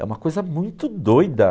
É uma coisa muito doida.